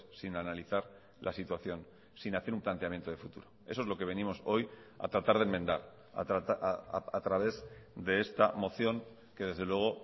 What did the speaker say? sin analizar la situación sin hacer un planteamiento de futuro eso es lo que venimos hoy a tratar de enmendar a través de esta moción que desde luego